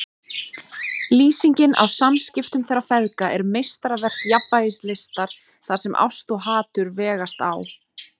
Lýsingin á samskiptum þeirra feðga er meistaraverk jafnvægislistar þar sem ást og hatur vegast á.